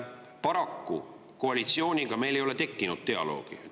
Paraku koalitsiooniga meil ei ole tekkinud dialoogi.